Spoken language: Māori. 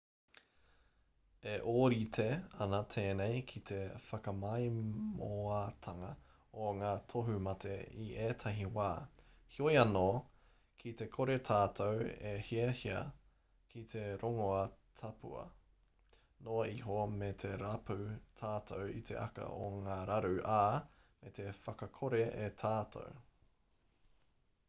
e ōrite ana tēnei ki te whakamaimoatanga o ngā tohumate i ētahi wā heoi anō ki te kore tātou e hiahia ki te rongoā taupua noa iho me rapu tātou i te aka o ngā raru ā me whakakore e tātou